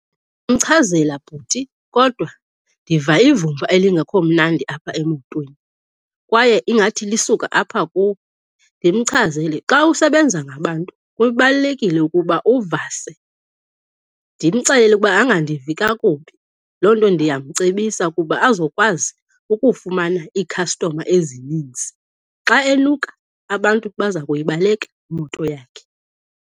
Bhuti, kodwa ndiva ivumba elingekho mnandi apha emotweni kwaye ingathi lisuka apha kuwe. Ndimchazele, xa usebenza ngabantu kubalulekile ukuba uvase. Ndimxelele ukuba angandivi kakubi, loo nto ndiyamcebisa ukuba azokwazi ukufumana iikhastoma ezininzi. Xa enuka, abantu baza kuyibaleka imoto yakhe.